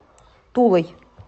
тулой